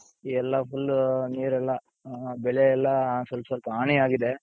ಎಲ್ಲಾ full ನೀರೆಲ್ಲ ಬೆಳೆ ಎಲ್ಲ ಸ್ವಲ್ಪ್ ಸ್ವಲ್ಪ ಹಾನಿ ಆಗಿದೆ.